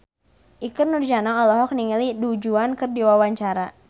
Ikke Nurjanah olohok ningali Du Juan keur diwawancara